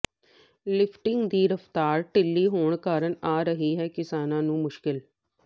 lifting ਦੀ ਰਫਤਾਰ ਢਿੱਲੀ ਹੋਣ ਕਾਰਨ ਆ ਰਹੀ ਹੈ ਕਿਸਾਨਾਂ ਨੂੰ ਮੁਸ਼ਕਿਲ